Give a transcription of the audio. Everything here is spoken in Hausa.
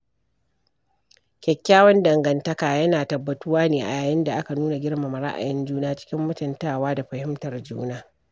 Kyakkyawan danganta yana tabbatuwa ne a yayin da aka nuna girmama ra'ayin juna cikin mutuntawa da fahimtar juna.